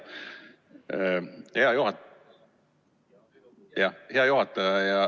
Hea juhataja!